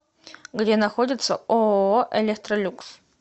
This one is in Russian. где находится ооо электролюкс